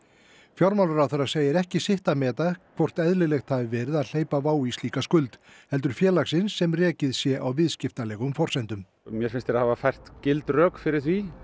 fjármálaráðherra segir ekki sitt að meta hvort eðlilegt hafi verið að hleypa WOW í slíka skuld heldur félagsins sem rekið sé á viðskiptalegum forsendum mér finnst þeir hafa fært gild rök fyrir því